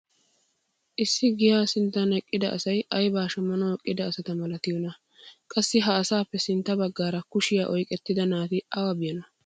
Issi giyaa sinttan eqqida asay aybaa shammanawu eqqida asata malattiyoonaa? Qassi ha asaappe sintta bagaara kushiya oyqqettida naati awa biyyonaa?